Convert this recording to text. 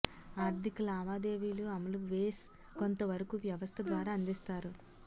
ఆర్ధిక లావాదేవీలు అమలు వేస్ కొంతవరకు వ్యవస్థ ద్వారా అందిస్తారు